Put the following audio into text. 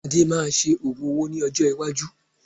Ade máa ṣe ogún owó ní ọjọ́ iwájú